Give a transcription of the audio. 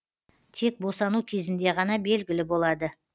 тек босану кезінде ғана белгілі болады